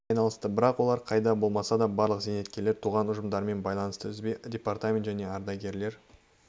айналысты бірақ олар қайда болмаса да барлық зейнеткерлер туған ұжымдарымен байланысты үзбейді департаменті және ардагарлер